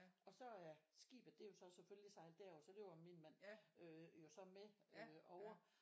Og så er skibet det jo så selvfølgelig sejlet med derover og så løber min mand øh jo så med over